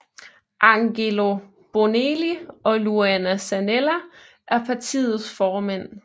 Angelo Bonelli og Luana Zanella er partiets formænd